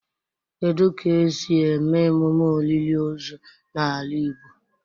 Kedu ka esi eme emume olili ozu na ala igbo?